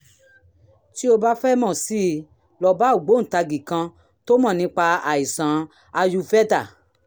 tó o bá fẹ́ mọ̀ sí i lọ bá ògbóǹtagì kan tó mọ̀ nípa àìsàn ayurveda